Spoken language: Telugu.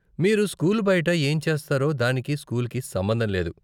మీరు స్కూల్ బయట ఏం చేస్తారో, దానికి స్కూల్కి సంబంధం లేదు.